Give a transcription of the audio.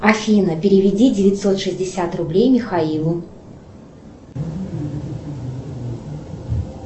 афина переведи девятьсот шестьдесят рублей михаилу